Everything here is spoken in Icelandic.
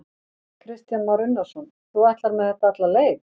Kristján Már Unnarsson: Þú ætlar með þetta alla leið?